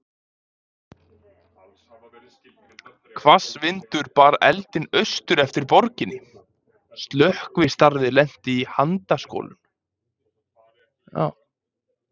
Hvass vindur bar eldinn austur eftir borginni, og slökkvistarfið lenti í handaskolum.